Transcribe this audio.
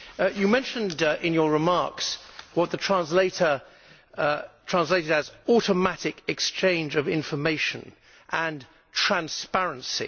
You mentioned in your remarks what the interpreter translated as automatic exchange of information' and transparency'.